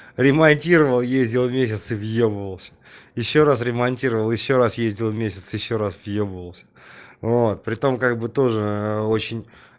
ремонтировал ездил в месяц въебывался ещё раз ремонтировал ещё раз ездил месяц ещё раз въебывался вот при том как бы тоже очень